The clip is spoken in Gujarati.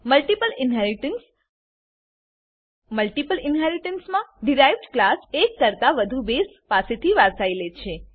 મલ્ટીપલ ઇનહેરીટન્સ મલ્ટીપલ ઇનહેરીટન્સમાં ડીરાઇવ્ડ ક્લાસ એક કરતા વધુ બેઝ ક્લાસ પાસેથી વારસાઈ લે છે